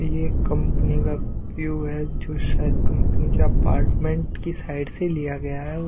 ये कंपनी का व्यू हैजो शायद कंपनी के अपार्टमेंट की साइड से लिया गया है।